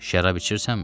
Şərab içirsənmi?